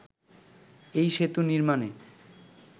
এই সেতু নির্মাণে